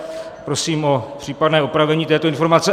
Prosím o případné opravení této informace.